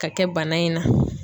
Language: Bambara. Ka kɛ bana in na.